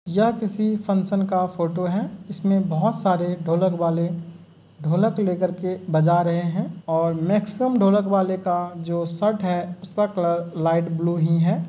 यह किसी फंक्शन का फोटो है। इसमें बहोत सारे ढोलक वाले ढोलक लेकर के बजा रहे हैं और मैक्सिमम ढोलक वाले का जो शर्ट है उसका कलर लाइट ब्लू ही है।